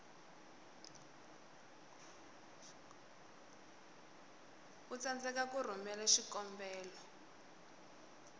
u tsandzeka ku rhumela xikombelo